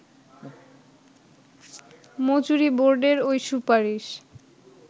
মজুরি বোর্ডের ওই সুপারিশ